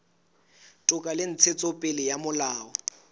toka le ntshetsopele ya molao